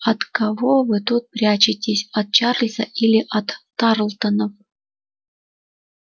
от кого вы тут прячетесь от чарлза или от тарлтонов